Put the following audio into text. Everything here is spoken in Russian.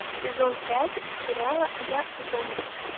сезон пять сериала я зомби